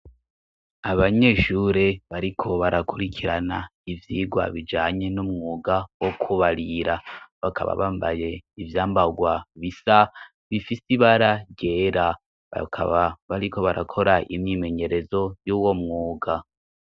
Abanyeshure bariko barakurikirana ivyirwa bijanye n'umwuga wo kubarira bakaba bambaye ivyambarwa bisa bifise ibararyera bakaba bariko barakora imyimenyerezo y'uwo mwuga.